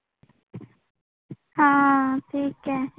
हा ठीक आहे.